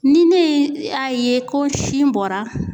Ni ne ye a ye ko sin bɔra